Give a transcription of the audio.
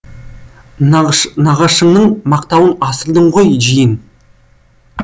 нағашыңның мақтауын асырдың ғой жиен